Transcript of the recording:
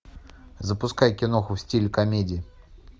запускай киноху в стиле комедии